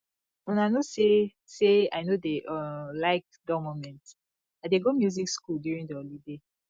una know say say i no dey um like dull moment i dey go music school during the holiday